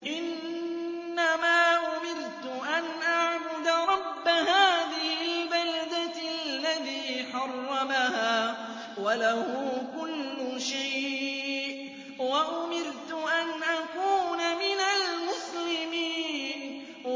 إِنَّمَا أُمِرْتُ أَنْ أَعْبُدَ رَبَّ هَٰذِهِ الْبَلْدَةِ الَّذِي حَرَّمَهَا وَلَهُ كُلُّ شَيْءٍ ۖ وَأُمِرْتُ أَنْ أَكُونَ مِنَ الْمُسْلِمِينَ